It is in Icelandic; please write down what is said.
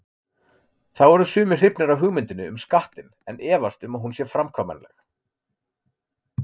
Þá eru sumir hrifnir af hugmyndinni um skattinn en efast um að hún sé framkvæmanleg.